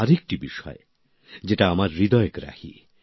আরেকটি বিষয় যেটা আমার হৃদয়গ্রাহী